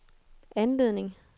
anledning